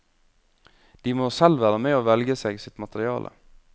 De må selv være med å velge seg sitt materiale.